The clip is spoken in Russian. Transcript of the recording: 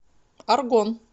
аргон